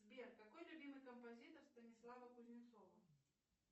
сбер какой любимый композитор станислава кузнецова